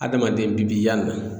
Adamaden bi bi yan